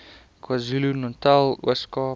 kwazulunatal ooskaap